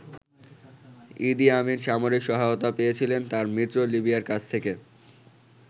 ইদি Amin সামরিক সহায়তা পেয়েছিলেন তার মিত্র লিবিয়ার কাছ থেকে।